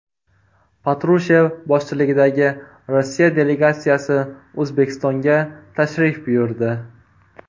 Patrushev boshchiligidagi Rossiya delegatsiyasi O‘zbekistonga tashrif buyurdi.